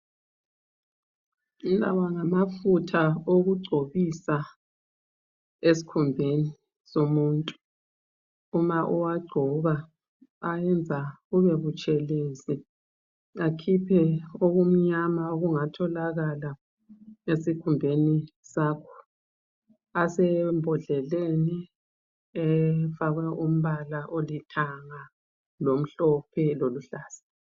Lawa ngamafutha okugcobisa esikhumbeni somuntu uma uwagcoba ayenza ubebutshelezi akhiphe okumnyama okungatholakala esikhumbeni sakho asembodleleni efakwe umbala olithanga lomhlophe loluhlaza.